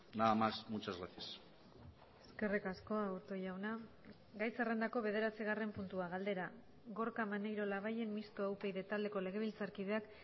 nada más muchas gracias eskerrik asko aburto jauna gai zerrendako bederatzigarren puntua galdera gorka maneiro labayen mistoa upyd taldeko legebiltzarkideak